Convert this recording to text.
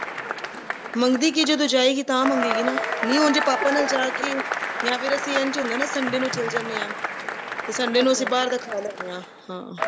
ਮੰਗਦੀ ਕਿ ਜਦੋਂ ਜਾਏਗੀ ਤਾਹੀਂ ਮੰਗੇਗੀ ਨਾ ਨਹੀਂ ਉਂਝ ਪਾਪਾ ਨਾਲ ਜਾ ਕੇ ਯਾ ਫੇਰ ਅਸੀਂ ਐਂ ਹੁੰਦਾ Sunday ਨੂੰ ਚੱਲ ਜਾਣੇ ਹਾਂ ਤੇ Sunday ਨੂੰ ਅਸੀਂ ਬਾਹਰ ਦਾ ਖਾ ਲੇਂਦੇ ਹਾ ਹਾਂ